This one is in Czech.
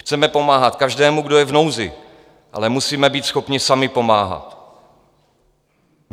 Chceme pomáhat každému, kdo je v nouzi, ale musíme být schopni sami pomáhat.